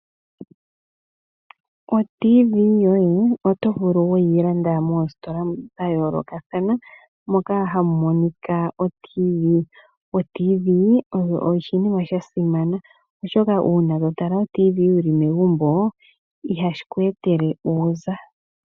Oradio yoye yomuzizimba oto vulu weyi landa moositola dhayoolokathana moka hamu monika oradio yomuzizimba. Oradio yomuzizimba oyo oshinima shasimana oshoka ngele toyi tala ihashi kweetele uuza.